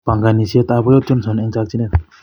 Pongonisiet ab boyot Johnson en chokineet.